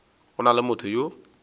go na le motho yo